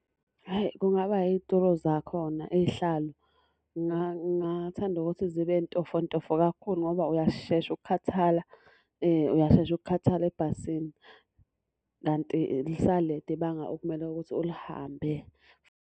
Hhayi kungaba yituro zakhona, iy'hlalo. Ngingathanda ukuthi zibe ntofontofo kakhulu ngoba uyashesha ukukhathala, uyashesha ukukhathala ebhasini. Kanti lisalide ibanga okumele ukuthi ulihambe.